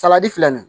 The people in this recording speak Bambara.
Salati filɛ nin